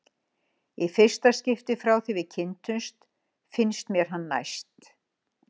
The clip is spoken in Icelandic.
Í fyrsta skipti frá því við kynntumst finnst mér hann næst